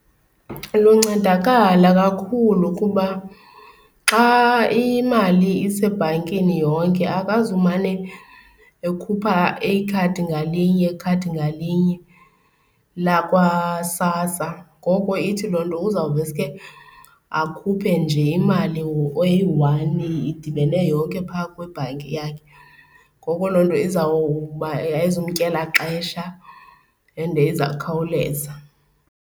Luncedakala kakhulu kuba xa imali isebhankini yonke akazumane ekhupha ikhadi ngalinye, ikhadi ngalinye lakwaSASSA, ngoko ithi loo nto uzawuveske akhuphe nje imali eyi-one idibene yonke phaa kwibhanki yakhe. Ngoko loo nto izawuba ayizumtyela xesha and izawukhawuleza.